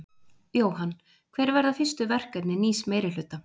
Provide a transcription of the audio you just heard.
Jóhann: Hver verða fyrstu verkefni nýs meirihluta?